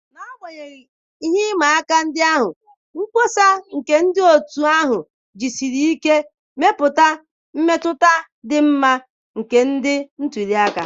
N'agbanyeghị ihe ịma aka ndị ahụ, mkpọsa nke otu ahụ jisiri ike mepụta mmetụta dị mma na ndị ntuli aka